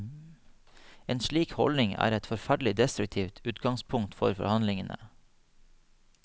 En slik holdning er et forferdelig destruktivt utgangspunkt for forhandlingene.